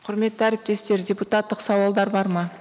құрметті әріптестер депутаттық сауалдар бар ма